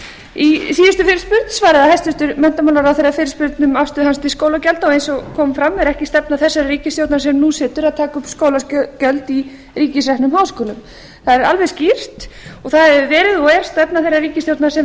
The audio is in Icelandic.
í síðustu fyrirspurn svaraði hæstvirtur menntamálaráðherra fyrirspurn um afstöðu hans til skólagjalda og eins og kom fram er ekki stefna þessarar ríkisstjórnar sem nú situr að taka upp skólagjöld í ríkisreknum háskólum það er alveg skýrt og það hefur verið og er stefna þeirrar ríkisstjórnar sem